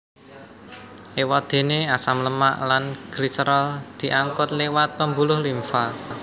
Éwadéné asam lemak lan gliserol diangkut liwat pembuluh limfa